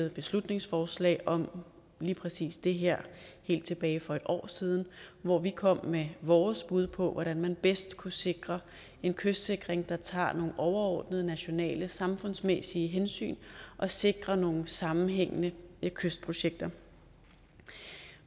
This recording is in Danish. et beslutningsforslag om lige præcis det her helt tilbage for et år siden hvor vi kom med vores bud på hvordan man bedst kunne sikre en kystsikring der tager nogle overordnede nationale samfundsmæssige hensyn og sikrer nogle sammenhængende kystprojekter